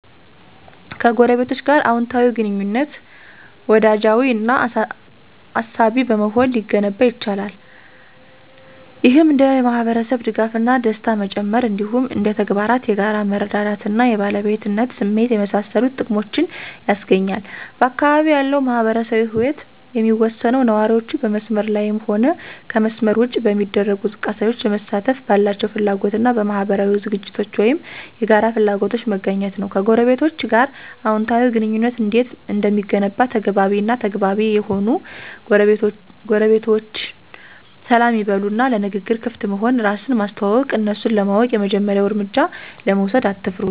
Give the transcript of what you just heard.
ከጎረቤቶች ጋር አወንታዊ ግንኙነት፣ ወዳጃዊ እና አሳቢ በመሆን ሊገነባ ይችላል። ይህም እንደ የማህበረሰብ ድጋፍ እና ደስታ መጨመር፣ እንዲሁም እንደ ተግባራት የጋራ መረዳዳት እና የባለቤትነት ስሜትን የመሳሰሉ ጥቅሞችን ያስገኛል። በአካባቢው ያለው ማህበራዊ ህይወት የሚወሰነው ነዋሪዎቹ በመስመር ላይም ሆነ ከመስመር ውጭ በሚደረጉ እንቅስቃሴዎች ለመሳተፍ ባላቸው ፍላጎት እና በአካባቢያዊ ዝግጅቶች ወይም የጋራ ፍላጎቶች መገኘት ነው። ከጎረቤቶቸ ጋር አዎንታዊ ግንኙነት እንዴት እንደሚገነባ ተግባቢ እና ተግባቢ ይሁኑ ጎረቤቶችዎን ሰላም ይበሉ እና ለንግግር ክፍት መሆን፣ እራስን ማስተዋወቅ፣ እነሱን ለማወቅ የመጀመሪያውን እርምጃ ለመውሰድ አትፍሩ።